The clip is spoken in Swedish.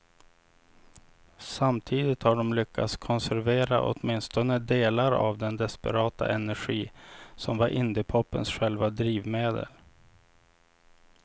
Samtidigt har de lyckats konservera åtminstone delar av den desperata energi som var indiepopens själva drivmedel.